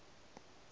ba re ge go pala